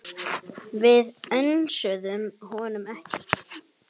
Við önsuðum honum ekki.